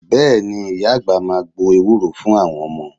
Bẹ́ẹ̀ ni, ìyá àgbà máa gbo ewúro fún àwọn ọmọ